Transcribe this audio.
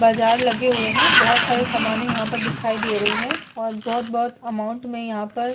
बाजार लगे हुए है बहुत सारे सामाने यहाँ पर दिखाई दे रही है और बहुत बहुत अमाउंट में यहाँ पर--